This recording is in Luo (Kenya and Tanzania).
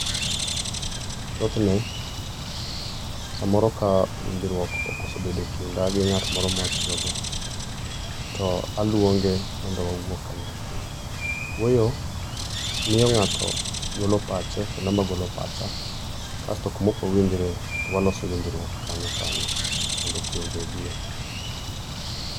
Thothne samoro ka winjruok okoso bedo ekinda gi ng'at moro ma atiyogo, to aluonge mondo wawuo kanyakla. Wuoyo miyo ng'ato golo pache kendo an bende agolo pacha, kasto kuma ok wawinjree, to waloso winjruok kanyo kanyo mondo kwe obedie.